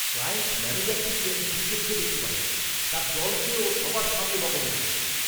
Client ম্যনেজারটিকে আমি দু'চক্ষে দেখতে পারি না, তার দলকে ও সবার সামনে বকাবকি করে।